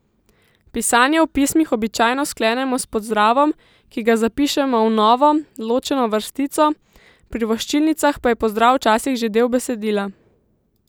Pisanje v pismih običajno sklenemo s pozdravom, ki ga zapišemo v novo, ločeno vrstico, pri voščilnicah pa je pozdrav včasih že del besedila.